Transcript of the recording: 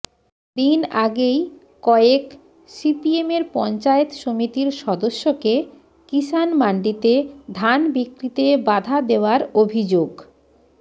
দিন আগেই কয়েক সিপিএমের পঞ্চায়েত সমিতির সদস্যকে কিসান মান্ডিতে ধান বিক্রিতে বাধা দেওয়ার অভিযোগ